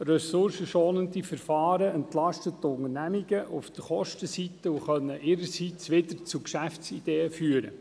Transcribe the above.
Ressourcenschonende Verfahren entlasten die Unternehmungen auf der Kostenseite und können ihrerseits wiederum zu Geschäftsideen führen.